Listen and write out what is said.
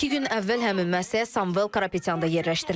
İki gün əvvəl həmin müəssisəyə Samuel Karapetyan da yerləşdirilib.